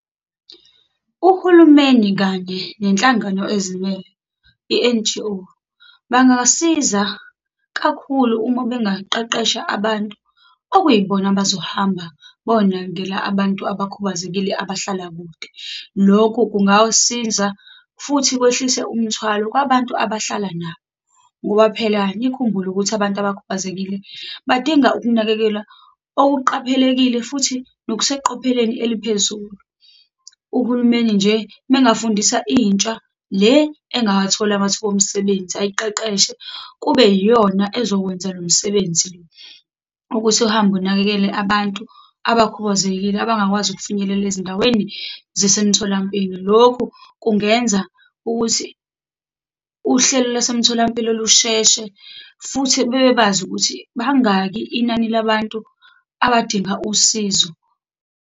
Uhulumeni kanye nenhlangano ezimele i-N_G_O bangasiza kakhulu, uma bengaqeqesha abantu okuyibona abazohamba bonakekela abantu abakhubazekile abahlala kude. Lokhu kungawusiza futhi kwehlise umthwalo kwabantu abahlala nabo. Ngoba phela nikhumbule ukuthi, abantu abakhubazekile, badinga ukunakekelwa okuqaphelekile futhi nokuseqopheleni eliphezulu. Uhulumeni nje uma engafundisa intsha le engawatholi amathuba omsebenzi, ayiqeqeshe kube yiyona ezokwenza lo msebenzi le, ukuthi uhambe unakekele abantu abakhubazekile abangakwazi ukufinyelela ezindaweni zasemtholampilo. Lokhu kungenza ukuthi uhlelo lasemtholampilo lusheshe, futhi bebebazi ukuthi bangaki inani labantu abadinga usizo.